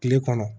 Kile kɔnɔ